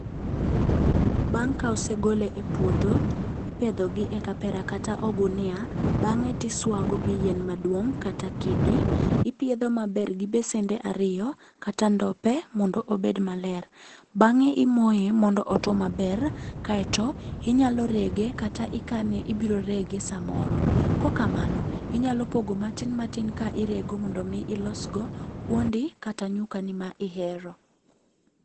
Bang' ka ose gole e puodho, ipedhogi e kapera kata ogunia, bang'e tisuago gi yien maduong' kata kidi. Ipiedho maber gi besende ariyo, kata ndope mondo obed maler. Bang'e imoye mondo otuo maber, kaeto inyalo rege kata ikane ibiro rege samoro. Kok kamano, inyalo pogo matin matin ka irego mondo mi ilosgo kuondi kata nyukani ma ihero.